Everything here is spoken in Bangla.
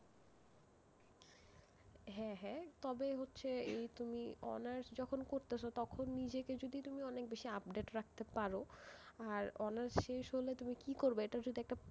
হ্যাঁ হ্যাঁ, তবে হচ্ছে এই তুমি honours যখন করতেছ তখন যদি নিজেকে তুমি অনেক বেশি update রাখতে পারো, আর honours শেষ হলে তুমি কি করবে এটাও যদি একটা,